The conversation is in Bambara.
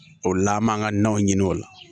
O la an b'an ka naw ɲini o la